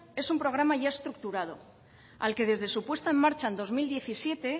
es un programa ya estructurado al que desde su puesta en marcha en dos mil diecisiete